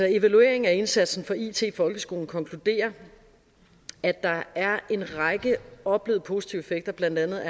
evalueringen af indsatsen for it i folkeskolen konkluderer at der er en række oplevede positive effekter blandt andet